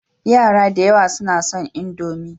Yara da yawa suna son Indomi.